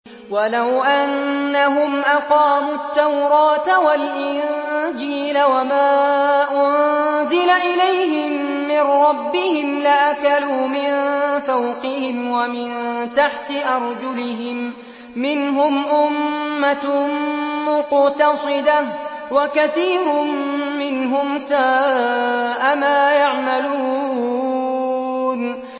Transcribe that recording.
وَلَوْ أَنَّهُمْ أَقَامُوا التَّوْرَاةَ وَالْإِنجِيلَ وَمَا أُنزِلَ إِلَيْهِم مِّن رَّبِّهِمْ لَأَكَلُوا مِن فَوْقِهِمْ وَمِن تَحْتِ أَرْجُلِهِم ۚ مِّنْهُمْ أُمَّةٌ مُّقْتَصِدَةٌ ۖ وَكَثِيرٌ مِّنْهُمْ سَاءَ مَا يَعْمَلُونَ